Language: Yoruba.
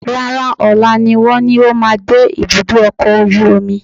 Rárá, ọ̀la ni wọ́n ní ó máa dé ibùdó ọkọ̀ ojú omi